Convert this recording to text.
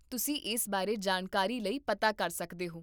ਤੁਸੀਂ ਇਸ ਬਾਰੇ ਜਾਣਕਾਰੀ ਲਈ ਪਤਾ ਕਰ ਸਕਦੇ ਹੋ